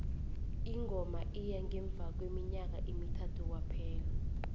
ingoma iya ngemva kweminyaka emithathu kwaphela